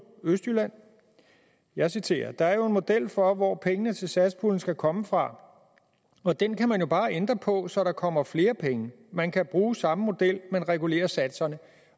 jeg citerer der er jo en model for hvor pengene til satspuljen skal komme fra og den kan man jo bare ændre på så der kommer flere penge man kan bruge samme model men regulere satserne